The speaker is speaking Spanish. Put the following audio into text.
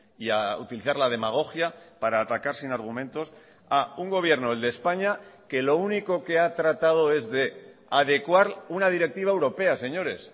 y a utilizar la demagogia para atacar sin argumentos a un gobierno el de españa que lo único que ha tratado es de adecuar una directiva europea señores